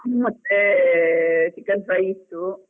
ಮತ್ತೇ chicken fry ಇತ್ತು.